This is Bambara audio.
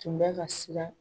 Kun bɛ ka siran.